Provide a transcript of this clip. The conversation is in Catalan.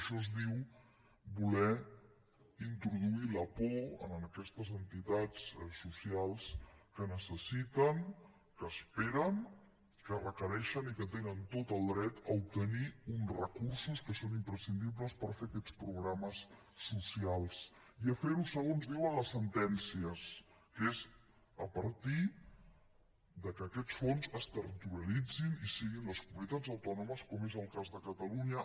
això es diu voler introduir la por en aquestes entitats socials que necessiten que esperen que requereixen i que tenen tot el dret a obtenir uns recursos que són imprescindibles per fer aquests programes socials i a fer ho segons diuen les sentències que és a partir que aquests fons es territorialitzin i siguin les comunitats autònomes com és el cas de catalunya